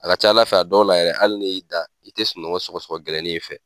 A ka ca Ala fɛ a dɔw la yɛrɛ hali ni y'i da i tɛ sunɔgɔ sɔgɔ sɔgɔ gɛlɛnin in fɛ.